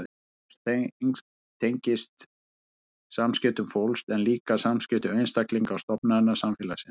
Traust tengist samskiptum fólks en líka samskiptum einstaklinga og stofnana samfélagsins.